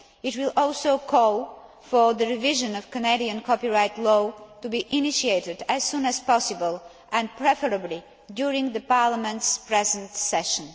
It will also call for the revision of Canadian copyright law to be initiated as soon as possible and preferably during the Parliament's present session.